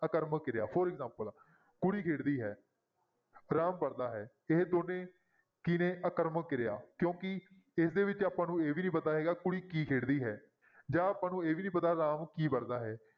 ਆਕਰਮਕ ਕਿਰਿਆ for example ਕੁੜੀ ਖੇਡਦੀ ਹੈ, ਰਾਮ ਪੜ੍ਹਦਾ ਹੈ, ਇਹ ਦੋਨੇਂ ਕੀ ਨੇ ਆਕਰਮਕ ਕਿਰਿਆ ਕਿਉਂਕਿ ਇਸਦੇ ਵਿੱਚ ਆਪਾਂ ਨੂੰ ਇਹ ਵੀ ਨੀ ਪਤਾ ਹੈਗਾ ਕੁੜੀ ਕੀ ਖੇਡਦੀ ਹੈ ਜਾਂ ਆਪਾਂ ਨੂੰ ਇਹ ਵੀ ਨੀ ਪਤਾ ਰਾਮ ਕੀ ਪੜ੍ਹਦਾ ਹੈ।